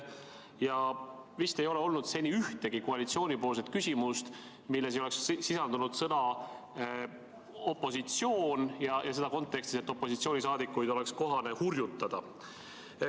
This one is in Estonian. Ja vist ei ole olnud seni ühtegi koalitsiooni küsimust, milles ei oleks sisaldunud sõna "opositsioon" ja seda kontekstis, et opositsiooni liikmeid oleks kohane hurjutada.